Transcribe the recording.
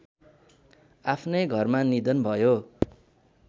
आफ्नै घरमा निधन भयो